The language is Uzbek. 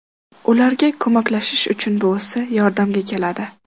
Ularga ko‘maklashish uchun buvisi yordamga keladi.